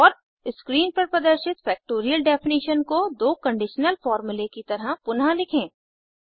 और स्क्रीन पर प्रदर्शित फ़ैक्टोरियल डेफनिशन को दो कंडीशनल फॉर्मूले की तरह पुनः लिखें